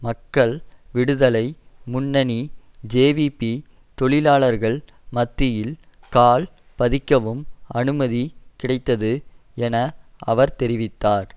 மக்கள் விடுதலை முன்னணி ஜேவிபி தொழிலாளர்கள் மத்தியில் கால் பதிக்கவும் அனுமதி கிடைத்தது என அவர் தெரிவித்தார்